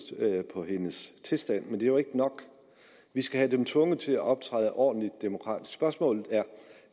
på hendes tilstand men det er jo ikke nok vi skal have dem tvunget til at optræde ordentligt demokratisk spørgsmålet